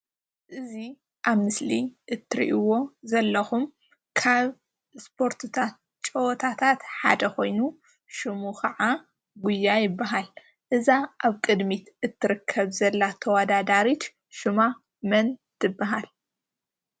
እዚ ኣብ ምስሊ እትርእዎ ዘለኹም ካብ እስፖርትታት ጨወታታት ሓደ ኮይኑ ሽሙ ከዓ ጉያ ይባሃል፡፡ እዛ ኣብ ቅድሚት እትርከብ ዘላ ተወዳዳሪት ሽሙማ መን ትባሃል?